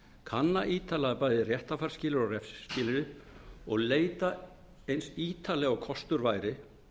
kanna ítarlega bæði réttarfarsskilyrði og refsiskilyrði og leita eins ítarlega og kostur væri